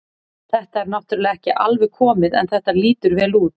Þetta er náttúrulega ekki alveg komið en þetta lýtur vel út.